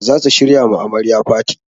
Za su shirya ma amarya faty.